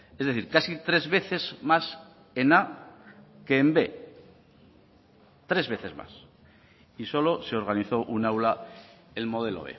es decir casi tres veces más en a que en b tres veces más y solo se organizó un aula el modelo